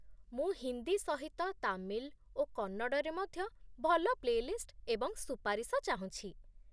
ମୁଁ ହିନ୍ଦୀ ସହିତ ତାମିଲ୍ ଓ କନ୍ନଡ଼ରେ ମଧ୍ୟ ଭଲ ପ୍ଳେ ଲିଷ୍ଟ ଏବଂ ସୁପାରିଶ ଚାହୁଁଛି।